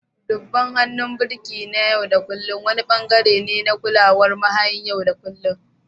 Duban hannun birki na yau da kullun wani ɓangare ne na kulawar mahayin yau da kullun